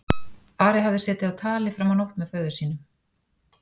Ari hafði setið á tali fram á nótt með föður sínum.